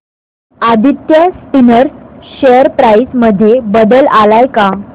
Aditya Spinners share price मध्ये बदल आलाय का